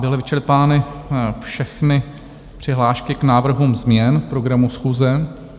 Byly vyčerpány všechny přihlášky k návrhům změn v programu schůze.